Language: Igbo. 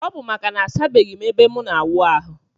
Ọbu maka na asabeghim ebe mu na awụ ahu.